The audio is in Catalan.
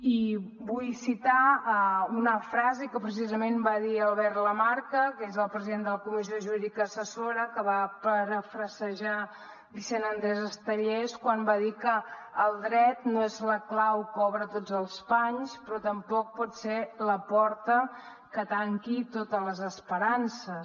i vull citar una frase que precisament va dir albert lamarca que és el president de la comissió jurídica assessora que va parafrasejar vicent andrés estellés quan va dir que el dret no és la clau que obre tots els panys però tampoc pot ser la porta que tanqui totes les esperances